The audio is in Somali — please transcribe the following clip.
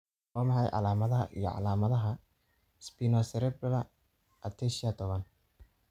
Waa maxay calaamadaha iyo calaamadaha Spinocerebellar ataxia tobaan ?